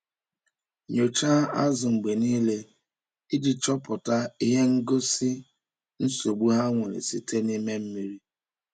Nyocha azụ mgbe niile iji chọpụta ihe ngosi nsogbu ha nwere site n’ime mmiri.